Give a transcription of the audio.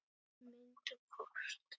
Mynd og kort